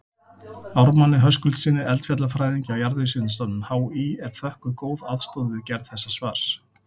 Ármanni Höskuldssyni eldfjallafræðingi á Jarðvísindastofnun HÍ er þökkuð góð aðstoð við gerð þessa svars.